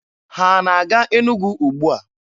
Ha na-aga Enugwu ugbua?